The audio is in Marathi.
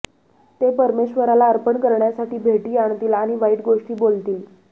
ते परमेश्वराला अर्पण करण्यासाठी भेटी आणतील आणि वाईट गोष्टी बोलतील